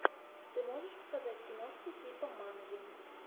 ты можешь показать киношку типа манги